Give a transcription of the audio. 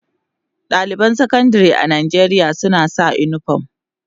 Daliban Sakandare a Najeriya suna sa unifom.